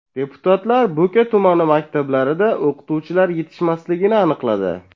Deputatlar Bo‘ka tumani maktablarida o‘qituvchilar yetishmasligini aniqladi.